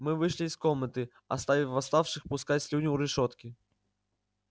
мы вышли из комнаты оставив восставших пускать слюни у решётки